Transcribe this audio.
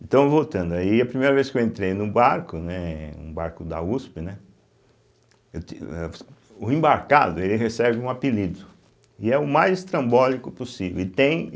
Então, voltando aí, a primeira vez que eu entrei num barco, né, um barco da uspe, né eu ti o o embarcado ele recebe um apelido, e é o mais estrambólico possível e tem.